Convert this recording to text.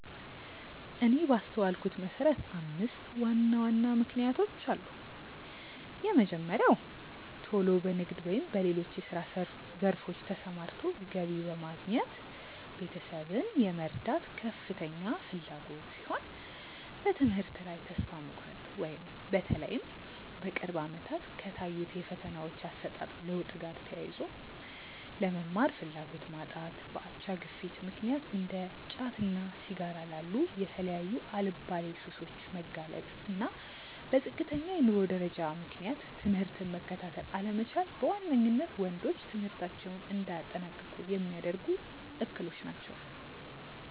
እኔ ባስተዋልኩት መሰረት አምስት ዋና ዋና ምክንያቶች አሉ። የመጀመሪያው ቶሎ በንግድ ወይም በሌሎች የስራ ዘርፎች ተሰማርቶ ገቢ በማግኘት ቤተሰብን የመርዳት ከፍተኛ ፍላጎት ሲሆን፤ በትምህርት ላይ ተስፋ መቁረጥ(በተለይም በቅርብ አመታት ከታዩት የፈተናዎች አሰጣጥ ለውጥ ጋር ተያይዞ)፣ ለመማር ፍላጎት ማጣት፣ በአቻ ግፊት ምክንያት እንደ ጫትና ሲጋራ ላሉ የተለያዩ አልባሌ ሱሶች መጋለጥ፣ እና በዝቅተኛ የኑሮ ደረጃ ምክንያት ትምህርትን መከታተል አለመቻል በዋነኝነት ወንዶች ትምህርታቸውን እንዳያጠናቅቁ ሚያደርጉ እክሎች ናቸው።